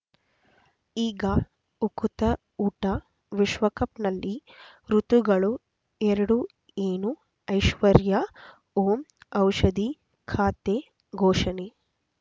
ಈಗ ಉಕುತ ಊಟ ವಿಶ್ವಕಪ್‌ನಲ್ಲಿ ಋತುಗಳು ಎರಡು ಏನು ಐಶ್ವರ್ಯಾ ಓಂ ಔಷಧಿ ಖಾತೆ ಘೋಷಣೆ